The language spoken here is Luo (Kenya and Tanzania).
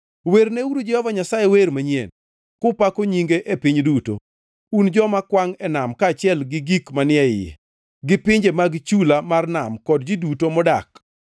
Werneuru Jehova Nyasaye wer manyien, kupako nyinge e piny duto, un joma kwangʼ e nam kaachiel gi gik manie yie gi pinje mag chula mar nam kod ji duto modak.